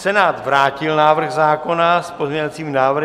Senát vrátil návrh zákona s pozměňovacími návrhy.